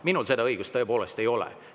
Minul seda õigust tõepoolest ei ole.